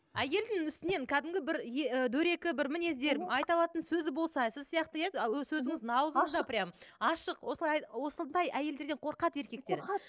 әйелдің үстінен кәдімгі бір ы дөрекі бір мінездер айта алатын сөзі болса сіз сияқты иә сөзіңіз ауызыңызда прямо ашық осылай осындай әйелдерден қорқады еркектер қорқады